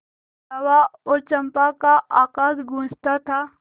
जावा और चंपा का आकाश गँूजता था